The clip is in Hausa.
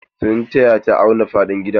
Sun taya ta auna faɗin gidan.